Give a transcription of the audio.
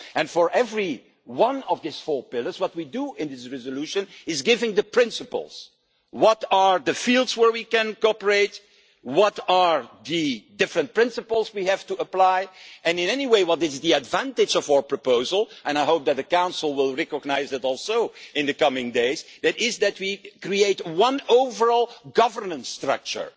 For every one of these four pillars, what we do in this resolution is give the principles what are the fields where we can cooperate, what are the different principles we have to apply, and anyway, what is the advantage of our proposal and I hope that the Council will also recognise this in the coming days is that we create one overall governance structure.